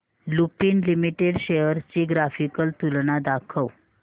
Lupin limited shares ची graphical तुलना दाखव